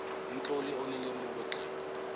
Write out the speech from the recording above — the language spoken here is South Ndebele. umtloli onelemuko tle